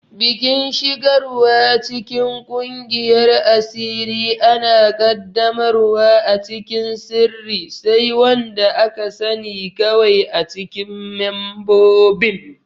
Bikin shigarwa cikin kungiyar asiri ana qaddamarwa a cikin sirri, sai wanda aka sani kawai acikin membobin.